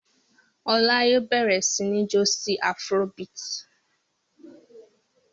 Ọlá yóò bẹ̀rẹ̀ sí ní jó sí afrobeat.